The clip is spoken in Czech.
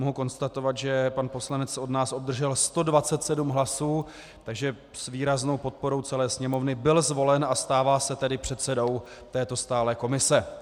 Mohu konstatovat, že pan poslanec od nás obdržel 127 hlasů, takže s výraznou podporou celé Sněmovny byl zvolen a stává se tedy předsedou této stálé komise.